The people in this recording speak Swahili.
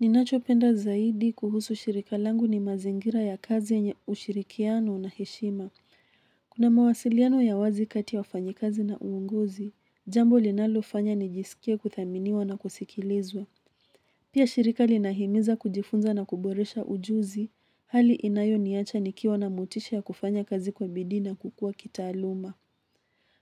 Ninachopenda zaidi kuhusu shirika langu ni mazingira ya kazi yenye ushirikiano na heshima. Kuna mawasiliano ya wazi kati ya wafanyikazi na uongozi, jambo linalofanya nijisikie kuthaminiwa na kusikilizwa. Pia shirika linahimiza kujifunza na kuboresha ujuzi, hali inayo niacha nikiwa na motisha ya kufanya kazi kwa bidii na kukua kitaaluma.